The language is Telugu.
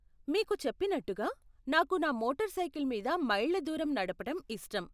మీకు చెప్పినట్టుగా, నాకు నా మోటార్ సైకిల్ మీద మైళ్ళ దూరం నడపటం ఇష్టం.